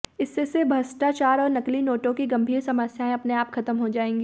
इससे भ्रष्टाचार और नकली नोटों की गंभीर समस्याएं अपने आप खत्म हो जाएंगी